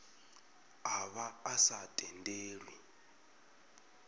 a vha a sa tendelwi